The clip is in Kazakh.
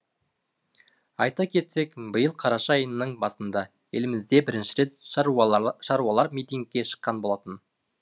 айта кетсек биыл қараша айының басында елімізде бірінші рет шаруалар митингке шыққан болатын